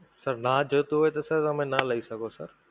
sir ના જોઈતું હોય તો sir તમે ના લઈ શકો sir